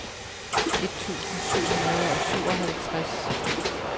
et tusind syv hundrede og syvoghalvtreds